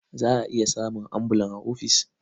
Za a iya samun ambulan a ofis.